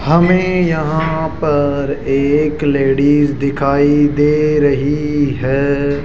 हमे यहां पर एक लेडीस दिखाई दे रही है।